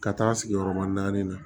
Ka taa sigi yɔrɔba naani na